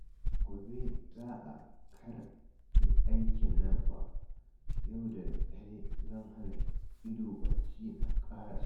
Gobe za a karɓi aikin nan fa, yau da daddare zan hana ido bacci na ƙarasa